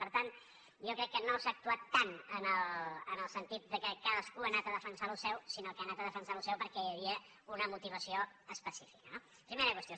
per tant jo crec que no s’ha actuat tant en el sentit que cadascú ha anat a defensar allò seu sinó que ha anat a defensar allò seu perquè hi havia una motivació específica no primera qüestió